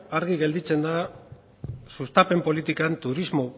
argi gelditzen da sustapen politikan turismo